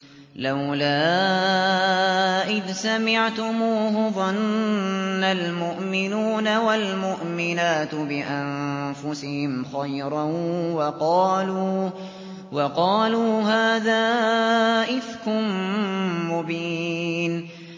لَّوْلَا إِذْ سَمِعْتُمُوهُ ظَنَّ الْمُؤْمِنُونَ وَالْمُؤْمِنَاتُ بِأَنفُسِهِمْ خَيْرًا وَقَالُوا هَٰذَا إِفْكٌ مُّبِينٌ